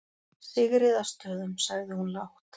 Sigríðarstöðum, sagði hún lágt.